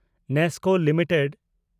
NESCO limited